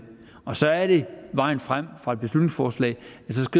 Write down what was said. og så er det vejen frem fra et beslutningsforslag